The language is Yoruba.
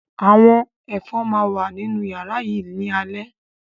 Àwọn Ẹ̀fọn máa wà nínú yàrá yìí ni alẹ́